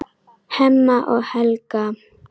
Hemma og Helga.